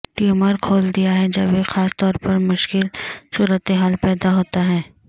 tumour کھول دیا ہے جب ایک خاص طور پر مشکل صورتحال پیدا ہوتا ہے